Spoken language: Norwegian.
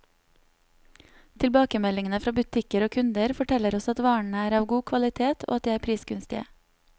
Tilbakemeldingene fra butikker og kunder, forteller oss at varene er av god kvalitet, og at de er prisgunstige.